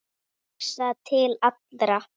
Hugsa til allra.